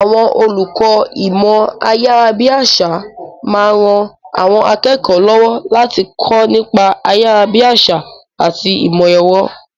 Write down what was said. Àwọn olùkọ́ ìmọ̀ ayárabíàṣá máa ń ran àwọn akẹ́kọ̀ọ́ lọ́wọ́ láti kọ́ nípa ayárabíàṣá àti ìmọ̀ ẹ̀rọ.